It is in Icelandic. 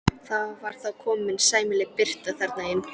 Það var þá komin sæmileg birta þarna inn.